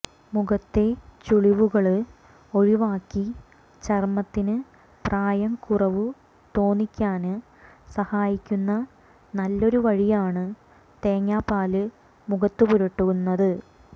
മുഖത്തെ ചുളിവുകള് ഒഴിവാക്കി ചര്മത്തിന് പ്രായക്കുറവു തോന്നിയ്ക്കാന് സഹായിക്കുന്ന നല്ലൊരു വഴിയാണ് തേങ്ങാപ്പാല് മുഖത്തു പുരട്ടുന്നത്